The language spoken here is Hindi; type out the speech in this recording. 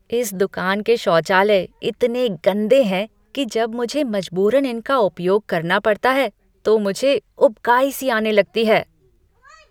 इस दुकान के शौचालय इतने गंदे हैं कि जब मुझे मजबूरन इनका उपयोग करना पड़ता है तो मुझे उबकाई सी आने लगती है।